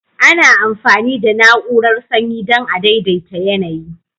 Ana amfani da na'urar sanyi dan a daidaita yanayi.